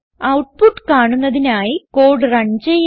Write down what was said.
output കാണുന്നതിനായി code run ചെയ്യാം